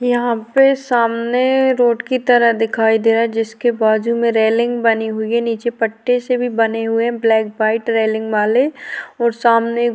यहाँ पे सामने रोड की तरह दिखाई दे रहा है जिसके बाजु में रैलिंग बनी हुई है निचे पट्टी से भी बने हुए है ब्लैक वाइट रैलिंग वाले और सामने --